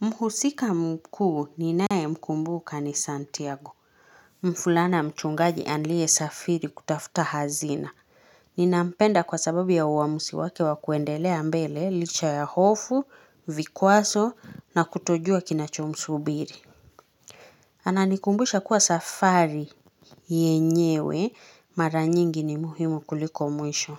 Mhusika mkuu ninae mkumbuka ni Santiago. Mfulana mchungaji alie safiri kutafuta hazina. Ninampenda kwa sababu ya uamusi wake wakuendelea mbele licha ya hofu, vikwazo na kutojua kinachomsubiri. Ananikumbusha kuwa safari yenyewe mara nyingi ni muhimu kuliko mwisho.